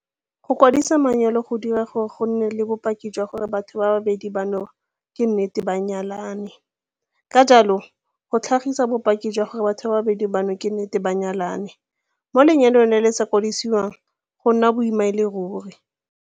Go kwadisa manyalo go dira gore go nne le bopaki jwa gore batho ba babedi bano ke nnete ba nyalane, ka jalo, go tlhagisa bopaki jwa gore batho ba babedi bano ke nnete ba nyalane mo lenyalong le le sa kwadisiwang go nna boima e le ruri.